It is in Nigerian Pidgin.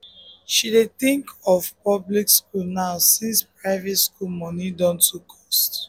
she dey think of public school now since private school money don too cost